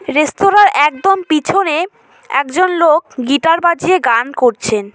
রেস্তোরাঁর একদম পিছনে একজন লোক গিটার বাজিয়ে গান করছেন।